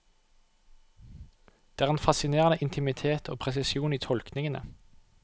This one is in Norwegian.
Det er en fascinerende intimitet og presisjon i tolkningene.